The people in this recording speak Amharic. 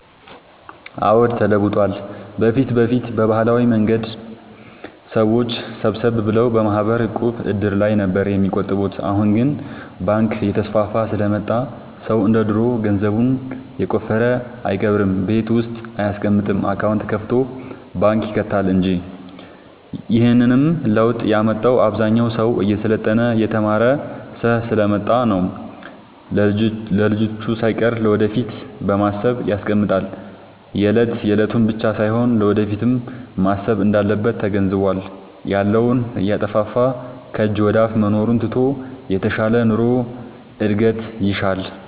አዎድ ተለውጧል በፊት በፊት በባህላዊ መንገድ ሰዎች ሰብሰብ ብለው በማህበር፣ ዕቁብ፣ እድር ላይ ነበር የሚቆጥቡት አሁን ግን ባንክ እየተስፋፋ ስለመጣ ሰው እንደ ድሮ ገንዘቡን የቆፈረ አይቀብርም ቤት ውስጥ አይያስቀምጥም አካውንት ከፋቶ ባንክ ይከታል እንጂ ይህንንም ለውጥ ያመጣው አብዛኛው ሰው እየሰለጠነ የተማረ ስሐ ስለመጣ ነው። ለልጅቹ ሳይቀር ለወደፊት በማሰብ ያስቀምጣል የለት የለቱን ብቻ ሳይሆን ለወደፊቱም ማሰብ እንዳለበት ተገንዝቧል። ያለውን እያጠፋፋ ከጅ ወደአፋ መኖሩን ትቶ የተሻለ ኑሮ እድገት ይሻል።